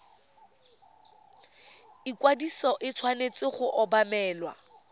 ikwadiso e tshwanetse go obamelwa